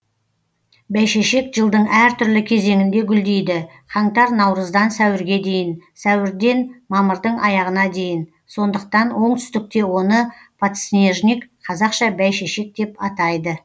бәйшешек жылдың әр түрлі кезеңінде гүлдейді қаңтар наурыздан сәуірге дейін сәуірден мамырдың аяғына дейін сондықтан оңтүстікте оны подснежник қазақша бәйшешек деп атайды